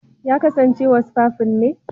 Ya kasance wasfafin ne.